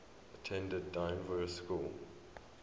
attended dynevor school